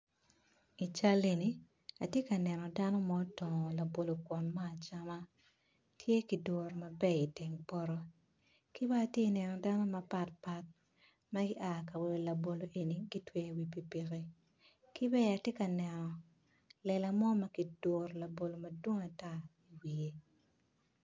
Atye ka neno dano mo ma otongo labolo me acama tye ki duru i teng poto. Dano mapatpat gua ka wilo labolo eni gutweyo i wi pikipiki. Lela mo ma kiduru labolo madwong i wiye